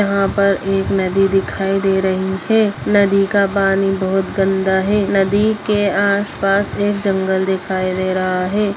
यहां पर एक नदी दिखाई दे रही है नदी का पानी बोहत गंदा है नदी के आस-पास एक जंगल दिखाई दे रहा है।